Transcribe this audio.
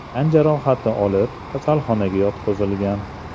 tan jarohati olib, kasalxonaga yotqizilgan.